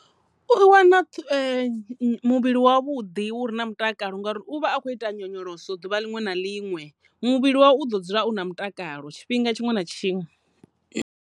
U wana muvhili wa vhuḓi uri na mutakalo ngauri u vha a khou ita nyonyoloso ḓuvha ḽiṅwe na ḽiṅwe muvhili wavho u ḓo dzula u na mutakalo tshifhinga tshiṅwe na tshiṅwe.